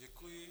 Děkuji.